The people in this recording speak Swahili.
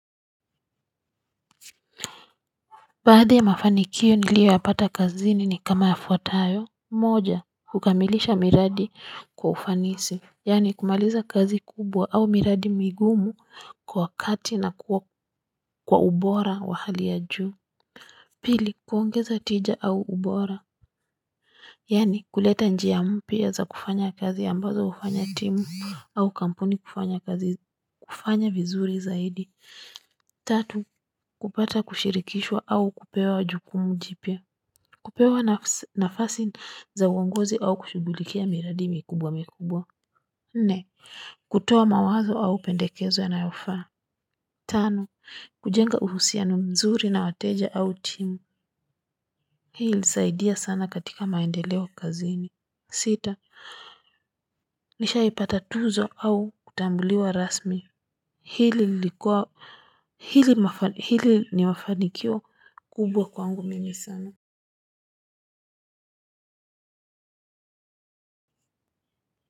Baadhi ya mafanikio niliyo yapata kazini ni kama yafuatayo moja kukamilisha miradi kwa ufanisi yaani kumaliza kazi kubwa au miradi migumu kwa kati na kwa ubora wa hali ya juu pili kuongeza tija au ubora yaani kuleta njia mpya za kufanya kazi ambazo hufanya timu au kampuni kufanya kazi kufanya vizuri zaidi tatu kupata kushirikishwa au kupewa jukumu jipya. Kupewa nafasi za uongozi au kushughulikia miradi mikubwa mikubwa. Nne, kutoa mawazo au pendekezo yanayofaa. Tano, kujenga uhusiano mzuri na wateja au timu. Hii ilisaidia sana katika maendeleo kazini. Sita, nishaipata tuzo au kutambuliwa rasmi. Hili lilikuwa hili ni mafanikio kubwa kwangu mimi sana.